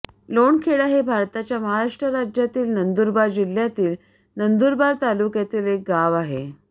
लोणखेडा हे भारताच्या महाराष्ट्र राज्यातील नंदुरबार जिल्ह्यातील नंदुरबार तालुक्यातील एक गाव आहे